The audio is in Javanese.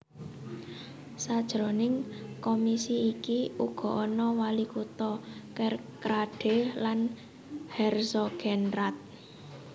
Sajroning komisi iki uga ana walikutha Kerkrade lan Herzogenrath